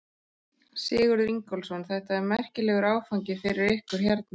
Sigurður Ingólfsson: Þetta er merkilegur áfangi fyrir ykkur hérna?